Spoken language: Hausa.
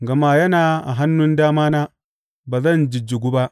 Gama yana a hannun damana, ba zan jijjigu ba.